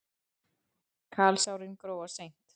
Kalsárin gróa seint.